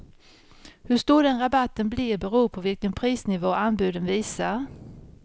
Hur stor den rabatten blir beror på vilken prisnivå anbuden visar.